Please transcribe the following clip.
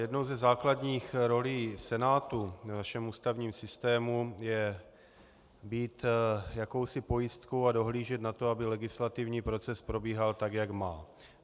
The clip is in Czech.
Jednou ze základních rolí Senátu v našem ústavním systému je být jakousi pojistkou a dohlížet na to, aby legislativní proces probíhal tak, jak má.